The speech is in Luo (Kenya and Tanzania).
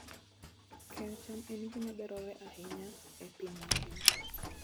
Keyo cham en gima dwarore ahinya e piny mangima.